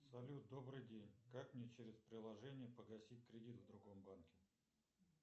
салют добрый день как мне через приложение погасить кредит в другом банке